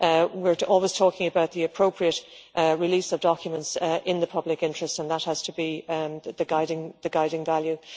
cost. We are always talking about the appropriate release of documents in the public interest and that has to be the guiding